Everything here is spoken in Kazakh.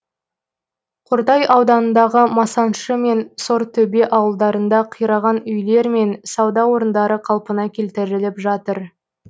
қордай ауданындағы масаншы мен сортөбе ауылдарында қираған үйлер мен сауда орындары қалпына келтіріліп жатыр